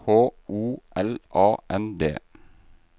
H O L A N D